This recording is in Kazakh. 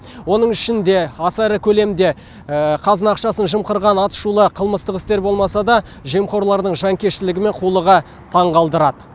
оның ішінде аса ірі көлемде қазына ақшасын жымқырған атышулы қылмыстық істер болмаса да жемқорлардың жанкештілігі мен қулығы таңғалдырады